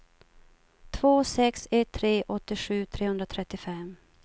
två sex ett tre åttiosju trehundratrettiofem